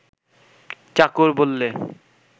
চাকর বললে